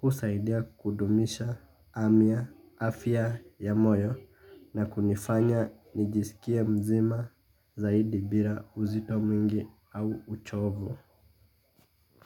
Husaidia kudumisha afya ya moyo na kunifanya nijisikie mzima zaidi bila uzito mwingi au uchovu.